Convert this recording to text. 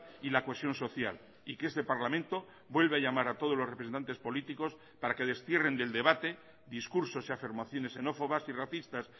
y la cohesión social y que este parlamento vuelve a llamar a todos los representantes políticos para que destierren del debate discursos y afirmaciones xenófobas y racistas